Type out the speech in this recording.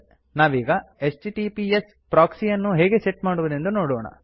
ನಾವೀಗ HTTPS proxy ಯನ್ನು ಹೇಗೆ ಸೆಟ್ ಮಾಡುವುದೆಂದು ನೋಡೋಣ